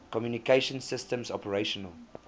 communication systems operational